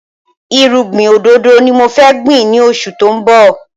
Irúgbìn òdòdó ni mo fẹ́ gbìn ni oṣù tó ń bọ̀